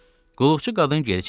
Qulluqçu qadın geri çəkildi.